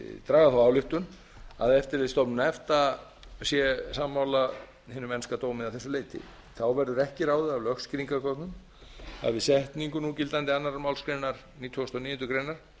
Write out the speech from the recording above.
draga þá ályktun að eftirlitsstofnun efta sé sammála hinum enska dómi að þessu leyti þá verður ekki ráðið af lögskýringargögnum að við setningu núgildandi annarrar málsgreinar nítugasta og níundu grein